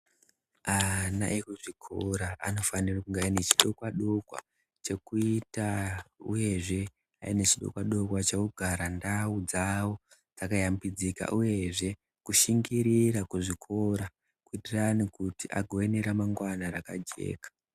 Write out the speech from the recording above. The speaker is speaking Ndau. Ana ekuchikora anofanire kunge ane chidokwa dokwa chekuita uyezve ane chidokwa dokwa chekugara ndau dzawo dzakayambidzika, uyezve kushingirira kuzvikora kuitirani kuti agowe neramangwana rakajeka.